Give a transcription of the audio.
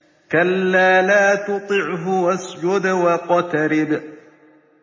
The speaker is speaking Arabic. كَلَّا لَا تُطِعْهُ وَاسْجُدْ وَاقْتَرِب ۩